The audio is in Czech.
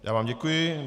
Já vám děkuji.